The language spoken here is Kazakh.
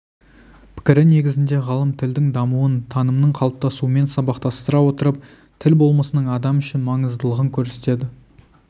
пікірі негізінде ғалым тілдің дамуын танымның қалыптасуымен сабақтастыра отырып тіл болмысының адам үшін маңыздылығын көрсетеді